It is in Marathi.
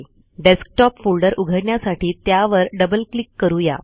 डेस्कटॉप फोल्डर उघडण्यासाठी त्यावर डबल क्लिक करू या